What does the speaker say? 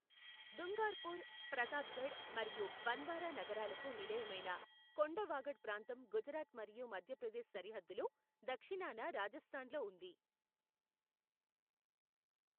దుంగార్పూర్, ప్రతాప్గఢ్ మరియు బన్వారా నగరాలకు నిలయమైన కొండ వాగడ్ ప్రాంతం గుజరాత్ మరియు మధ్యప్రదేశ్ సరిహద్దులో దక్షిణాన రాజస్థాన్లో ఉంది.